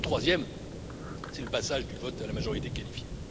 Le troisième, c'est le passage du vote à la majorité qualifiée.